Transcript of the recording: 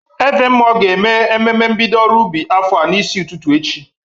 Ezemmụọ ga-eme ememe mbido ọrụ ubi afọ a n'isi ụtụtụ echi.